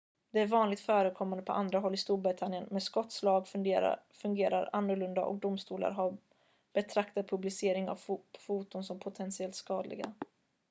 detta är vanligt förekommande på andra håll i storbritannien men skotsk lag fungerar annorlunda och domstolar har betraktat publicering av foton som potentiellt skadliga